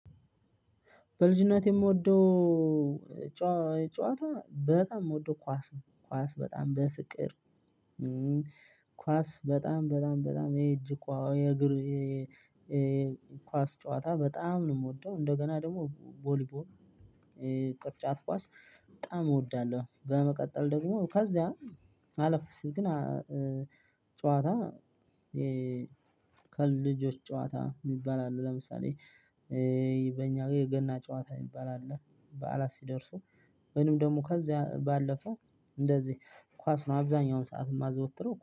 በልጅነቴ የምወደው ጨዋታ በጣም የምወደው ኳስ ነው ኳስ በጣም በፍቅር ኳስ በጣም በጣም በጣም የእጅ ኳስ የእግር ኳስ ጨዋታ በጣም ነው የምወደው። እንደገና ደግሞ ቦሊቦል ቅርጫት ኳስ በጣም እወዳለሁ። በመቀጠል ደግሞ ከዛ አለፍ ሲል ግን ጨዋታ ከልጆች ጨዋታ የሚባል አሉ። ለምሳሌ በእኛ የገና ጨዋታ የሚባል አለ። በዓላት ሲደርሱ ወይንም ደግሞ ከዚያ ባለፈው እንደዚህ ኳስ ነው አብዛኛውን ሰዓት የማዘወትረው